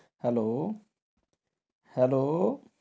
Hello hello.